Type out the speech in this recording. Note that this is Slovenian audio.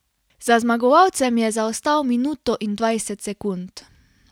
Za zmagovalcem je zaostal minuto in dvajset sekund.